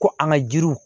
Ko an ka jiriw